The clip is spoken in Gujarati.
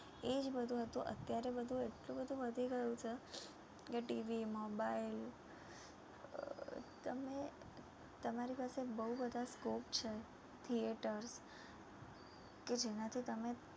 એ જ બધુ હતું, અત્યારે બધુ એટલું બધુ વધી ગયું છે કે TV mobile અર તમે તમારી પાસે બઉ બધા scope છે Theatre કે જેનથી તમે